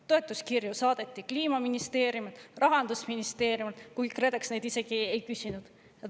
Toetuskirju saadeti Kliimaministeeriumilt, Rahandusministeeriumilt, kuigi KredEx neid isegi ei küsinud.